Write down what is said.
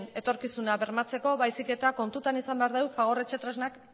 etorkizuna bermatzeko baizik eta kontutan izan behar dugu fagor etxetresnak